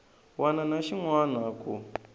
wana na xin wana ku